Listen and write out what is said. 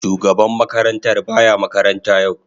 Shugaban makarantar ba ya makaranta yau.